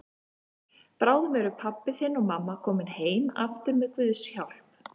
Bráðum eru pabbi þinn og mamma komin heim aftur með Guðs hjálp.